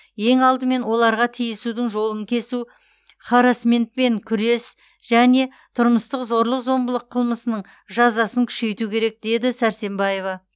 ең алдымен оларға тиісудің жолын кесу харассментпен күрес және тұрмыстық зорлық зомбылық қылмысының жазасын күшейту керек деді сәрсембаева